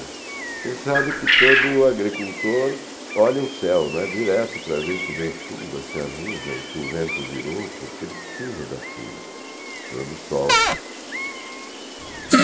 Você sabe que todo agricultor olha o céu, né, não é direto, para ver se vem chuva, se há nuvem, se o vento virou, porque ele precisa da chuva, precisa do sol.